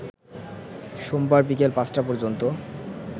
সোমবার বিকেল ৫টা পর্যন্ত